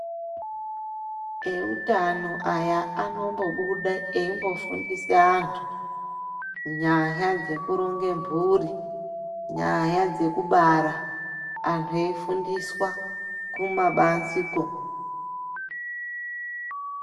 Eutano aya anombobude eimbofundise antu nyaya dzekuronge mburi nyaya dzekubara antu eifundiswa kumabanziko.